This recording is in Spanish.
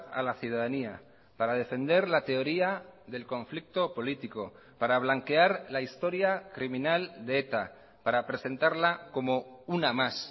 a la ciudadanía para defender la teoría del conflicto político para blanquear la historia criminal de eta para presentarla como una más